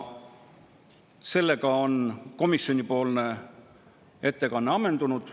Sellega on komisjoni ettekanne ammendunud.